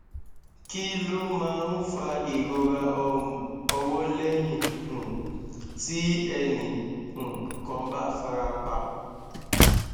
kí ló máa ń fa ìrora orun ọwọ lẹyìn um tí ẹnì um kan bá fara pa